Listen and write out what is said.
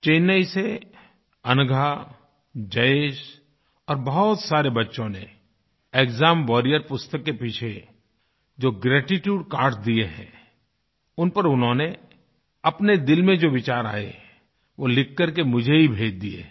चेन्नई से अनघा जयेशऔर बहुत सारे बच्चों ने एक्साम वारियर पुस्तक के पीछे जो ग्रेटीट्यूड कार्ड्स दिए हैं उन पर उन्होंने अपने दिल में जो विचार आये वो लिख कर मुझे ही भेज दिए हैं